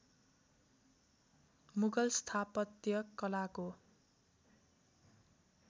मुगल स्थापत्य कलाको